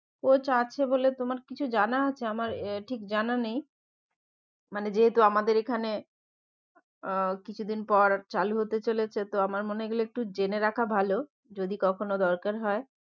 Coach আছে বলে তোমার কিছু জানা আছে আমার ঠিক জানা নেই মানে যেহেতু আমাদের এখানে আহ কিছু দিন পর চালু হতে চলেছে তো আমার মনে হয় এগুলো একটু জেনে রাখা ভালো যদি কখনো দরকার হয়